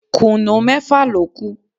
Kùnú mẹ́fà ló kù